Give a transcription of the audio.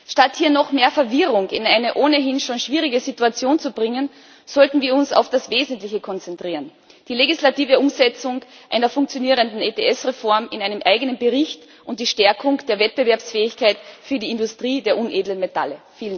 Statt hier noch mehr Verwirrung in eine ohnehin schon schwierige Situation zu bringen, sollten wir uns auf das Wesentliche konzentrieren die legislative Umsetzung einer funktionierenden ETS Reform in einem eigenen Bericht und die Stärkung der Wettbewerbsfähigkeit für die Industrie der unedlen Metalle.